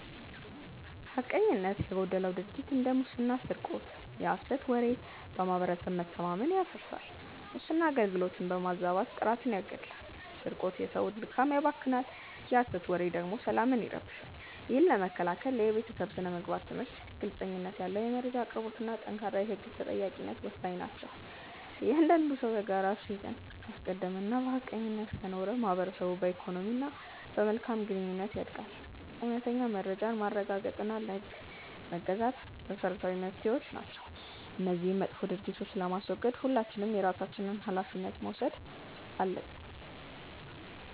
ሐቀኝነት የጎደለው ድርጊት እንደ ሙስና ስርቆት የሐሰት ወሬ በማህበረሰብ መተማመንን ያፈርሳል። ሙስና አገልግሎትን በማዛባት ጥራትን ይገድላል ስርቆት የሰውን ድካም ያባክናል የሐሰት ወሬ ደግሞ ሰላምን ይረብሻል። ይህን ለመከላከል የቤተሰብ ስነ-ምግባር ትምህርት፣ ግልጽነት ያለው የመረጃ አቅርቦትና ጠንካራ የህግ ተጠያቂነት ወሳኝ ናቸው። እያንዳንዱ ሰው የጋራ እሴትን ካስቀደመና በሐቀኝነት ከኖረ ማህበረሰቡ በኢኮኖሚና በመልካም ግንኙነት ያድጋል። እውነተኛ መረጃን ማረጋገጥና ለህግ መገዛት መሰረታዊ መፍትሄዎች ናቸው። እነዚህን መጥፎ ድርጊቶች ለማስወገድ ሁላችንም የየራሳችንን ሃላፊነት መውሰድ አለብን።